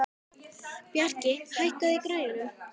Bjarki, hækkaðu í græjunum.